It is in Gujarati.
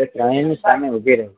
એ ભાઈ ની સામે ઉભી રહી